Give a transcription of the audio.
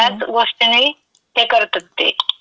ह्याच गोष्टीनी ते करतात ते.